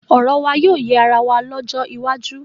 Ọ̀rọ̀ wà yóò yé ara wa lọ́jọ́ iwájú.